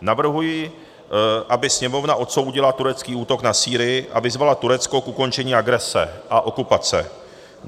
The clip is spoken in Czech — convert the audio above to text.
Navrhuji, aby Sněmovna odsoudila turecký útok na Sýrii a vyzvala Turecko k ukončení agrese a okupace.